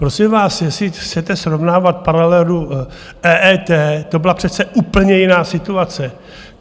Prosím vás, jestli chcete srovnávat paralelu EET, to byla přece úplně jiná situace.